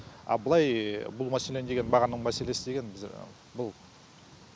а былай бұл мәселені деген бағаның мәселесі деген біз бұл